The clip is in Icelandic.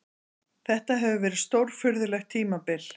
Þetta hefur verið stórfurðulegt tímabil.